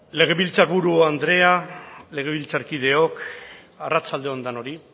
legebiltzarburu andrea legebiltzarkideok arratsalde on denoi